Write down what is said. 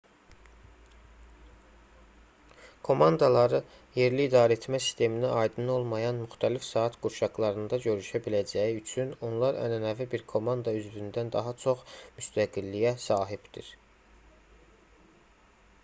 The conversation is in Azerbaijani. komandaları yerli idarəetmə sisteminə aydın olmayan müxtəlif saat qurşaqlarında görüşə biləcəyi üçün onlar ənənəvi bir komanda üzvündən daha çox müstəqilliyə sahibdir